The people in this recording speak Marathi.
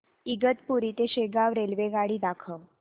इगतपुरी ते शेगाव रेल्वेगाडी दाखव